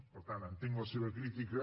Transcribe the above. per tant entenc la seva crítica